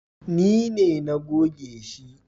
Ni na goge shi